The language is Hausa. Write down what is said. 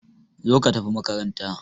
Zo ka tafi makaranta!